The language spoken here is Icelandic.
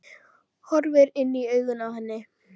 Horfir inn í augun á henni.